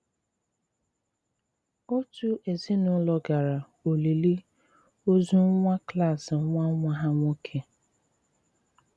Otu èzìnùlò gara olìlì òzù nwà klas nwà nwà ha nwòkè.